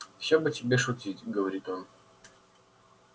все бы тебе шутить говорит он